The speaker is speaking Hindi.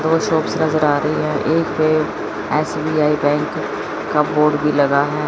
दो शॉप्स नजर आ रही हैं एक पे एस_बी_आई बैंक का बोर्ड भी लगा है।